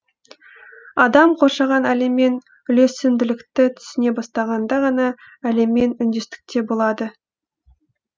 адам қоршаған әлеммен үйлесімділікті түсіне бастағанда ғана әлеммен үндестікте болады